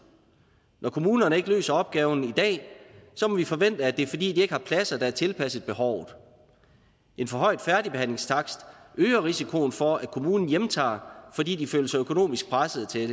når kommunerne ikke løser opgaven i dag må vi forvente at det er fordi de ikke har pladser der er tilpasset behovet en for høj færdigbehandlingstakst øger risikoen for at kommunen hjemtager fordi de føler sig økonomisk pressede til